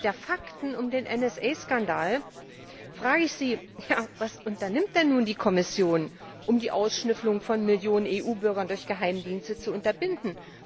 Angesichts der Fakten um den NSA Skandal frage ich Sie, was unternimmt denn nun die Kommission, um die Ausschnüffelung von Millionen von EU Bürgern durch Geheimdienste zu unterbinden?